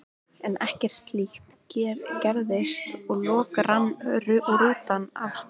En ekkert slíkt gerðist og loks rann rútan af stað.